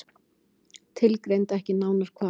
Tilgreindi ekki nánar hvar.